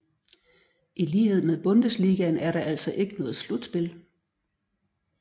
I lighed med Bundesligaen er der altså ikke noget slutspil